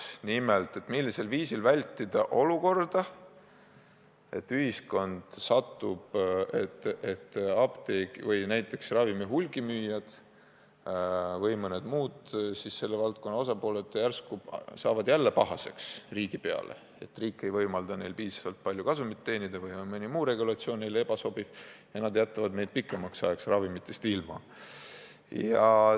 Nimelt: millisel viisil vältida seda, et ühiskond satub olukorda, kus mõni apteek või ravimi hulgimüüja või mõni muu selle valdkonna tegija järsku saab jälle pahaseks riigi peale, et riik ei võimalda tal piisavalt palju kasumit teenida või on mõni muu regulatsioon talle ebasobiv ja ta jätab meid pikemaks ajaks ravimitest ilma?